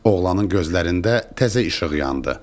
Oğlanın gözlərində təzə işıq yandı.